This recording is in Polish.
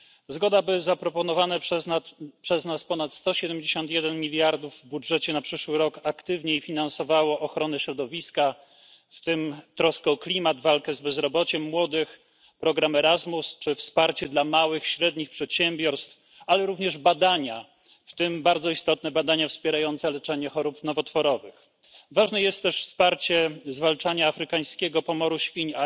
Zgoda, by zaproponowane przez nas ponad 171 mld w budżecie na przyszły rok aktywniej finansowało ochronę środowiska, w tym troskę o klimat, walkę z bezrobociem młodych, program Erasmus czy wsparcie dla małych i średnich przedsiębiorstw, ale również badania, w tym bardzo istotne badania wspierające leczenie chorób nowotworowych. Ważna jest też pomoc w zwalczaniu afrykańskiego pomoru świń